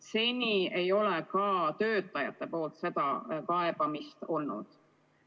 Seni ei ole ka töötajatelt kaebusi olnud.